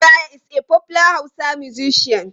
Dan Maraya is a popular Hausa musician.